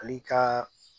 Ale ka